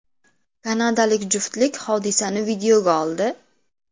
Kanadalik juftlik hodisani videoga oldi.